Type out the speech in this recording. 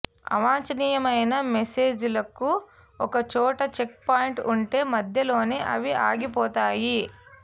అవాంఛనీయమైన మెసేజ్లకు ఒక చోట చెక్ పాయింట్ ఉంటే మధ్యలోనే అవి ఆగిపోతాయి